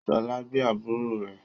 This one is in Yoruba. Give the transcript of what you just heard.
Ṣọlá gbé àbúrò rẹ